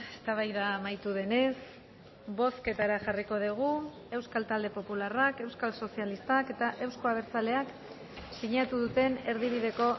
eztabaida amaitu denez bozketara jarriko dugu euskal talde popularrak euskal sozialistak eta euzko abertzaleak sinatu duten erdibideko